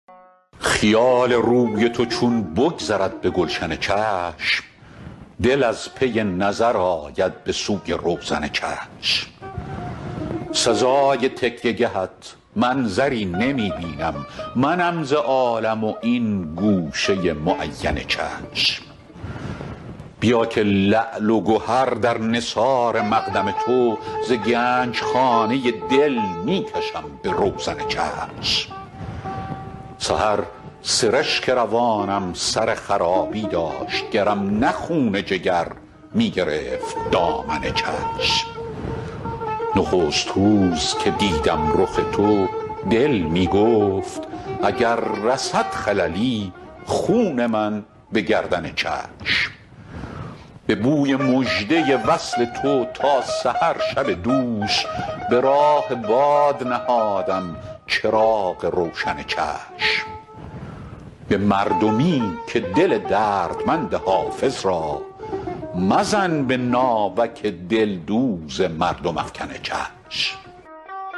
خیال روی تو چون بگذرد به گلشن چشم دل از پی نظر آید به سوی روزن چشم سزای تکیه گهت منظری نمی بینم منم ز عالم و این گوشه معین چشم بیا که لعل و گهر در نثار مقدم تو ز گنج خانه دل می کشم به روزن چشم سحر سرشک روانم سر خرابی داشت گرم نه خون جگر می گرفت دامن چشم نخست روز که دیدم رخ تو دل می گفت اگر رسد خللی خون من به گردن چشم به بوی مژده وصل تو تا سحر شب دوش به راه باد نهادم چراغ روشن چشم به مردمی که دل دردمند حافظ را مزن به ناوک دلدوز مردم افکن چشم